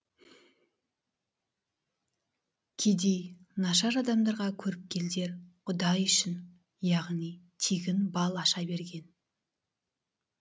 кедей нашар адамдарға көріпкелдер құдай үшін яғни тегін бал аша берген